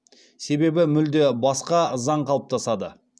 себебі мүлде басқа заң қалыптасады